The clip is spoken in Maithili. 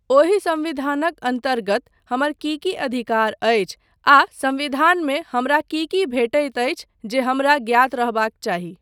ओहि संविधानक अन्तर्गत हमर की की अधिकार अछि आ संविधानमे हमरा की की भेटैत अछि जे हमरा ज्ञात रहबाक चाही।